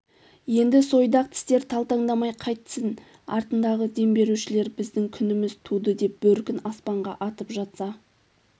енді сойдақ тістер талтаңдамай қайтсін артындағы дем берушілер біздің күніміз туды деп бөркін аспанға атып жатса